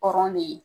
Kɔrɔ de ye